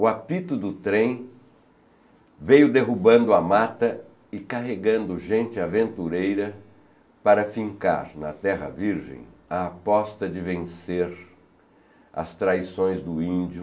O apito do trem veio derrubando a mata e carregando gente aventureira para fincar na terra virgem a aposta de vencer as traições do índio